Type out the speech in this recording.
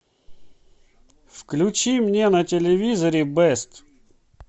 включи мне на телевизоре бест